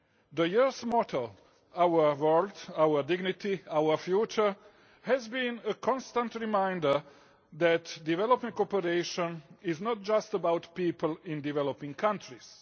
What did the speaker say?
The Year's motto, Our world, our dignity, our future' has been a constant reminder that development cooperation is not just about people in developing countries.